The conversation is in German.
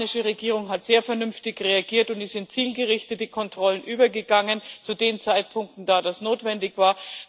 Die spanische Regierung hat sehr vernünftig reagiert und ist zu zielgerichteten Kontrollen übergegangen, zu den Zeitpunkten, als das notwendig war.